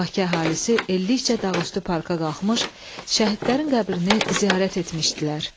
Bakı əhalisi ellikcə Dağüstü parka qalxmış, şəhidlərin qəbrini ziyarət etmişdilər.